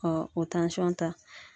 o ta.